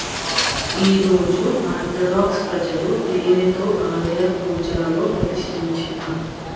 ఈ రోజు ఆర్థోడాక్స్ ప్రజలు తేనె తో ఆలయం కూజా లో ప్రతిష్టించిన